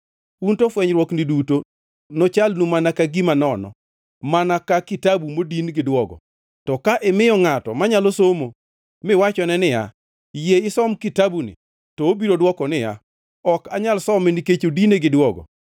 Un to fwenyruokni duto nochalnu mana ka gima nono, mana ka kitabu modin gi duogo. To ka imiyo ngʼato manyalo somo, miwachone niya, “Yie isom kitabuni,” to obiro dwoko niya, “Ok anyal some nikech odine gi duogo.”